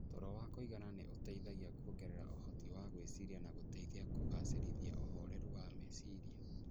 Toro wa kũigana nĩ ũteithagia kuongerera ũhoti wa gwĩciria na gũteithagia kũgacĩrithia ũhoreru wa meciria.